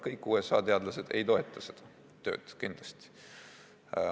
Kõik USA teadlased ei toeta seda tööd kindlasti.